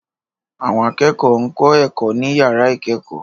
Àwọn akẹ́kọ̀ọ́ ń kọ́ ẹ̀kọ́ ní yàrá ìkẹ́kọ̀ọ́